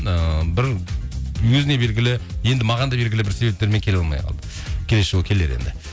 ыыы бір өзіне белгілі енді маған да белгілі бір себептермен келе алмай қалды келесі жолы келер енді